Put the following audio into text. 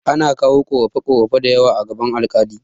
Ana kawo ƙorafe ƙorafe dayawa a gaban alƙali